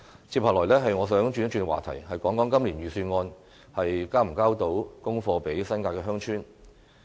接下來，我想轉一轉話題，談談今年預算案能否向新界鄉村"交功課"。